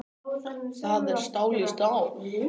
Það er stál í stál